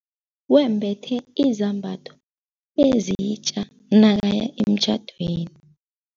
Wembethe izambatho ezitja nakaya emtjhadweni.